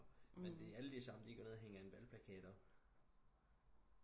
men det er alle de samme de går ned og hænger en valgplakat op